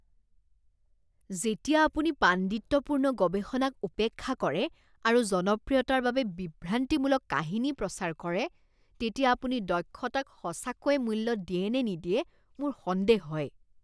যেতিয়া আপুনি পাণ্ডিত্যপূৰ্ণ গৱেষণাক উপেক্ষা কৰে আৰু জনপ্ৰিয়তাৰ বাবে বিভ্ৰান্তিমূলক কাহিনী প্ৰচাৰ কৰে তেতিয়া আপুনি দক্ষতাক সঁচাকৈয়ে মূল্য দিয়েনে নিদিয়ে মোৰ সন্দেহ হয়।